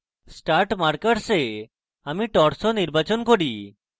start markers এ আমি torso নির্বাচন করি